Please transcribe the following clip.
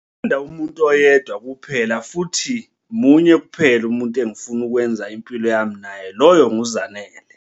Ngithanda umuntu oyedwa kuphela futhi munye kuphela umuntu engifuna ukwenza impilo yami naye, lowo nguZanele.